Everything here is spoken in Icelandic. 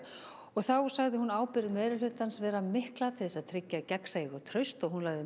þá sagði hún ábyrgð meirihlutans mikla til að tryggja gagnsæi og traust og lagði